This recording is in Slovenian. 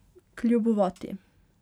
Kljubovati.